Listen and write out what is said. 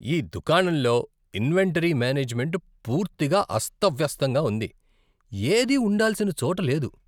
ఈ దుకాణంలో inventory management పూర్తిగా అస్తవ్యస్తంగా ఉంది. ఏదీ ఉండాల్సిన చోట లేదు.